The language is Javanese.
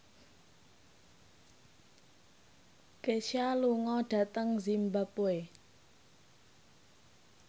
Kesha lunga dhateng zimbabwe